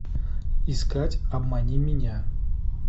искать обмани меня